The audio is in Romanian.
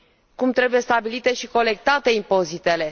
Cum trebuie stabilite și colectate impozitele?